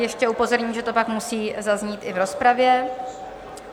Ještě upozorním, že to pak musí zaznít i v rozpravě.